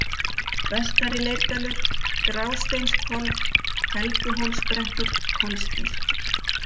Vestari-Leirdalur, Grásteinshvolf, Helguhólsbrekkur, Kolsgil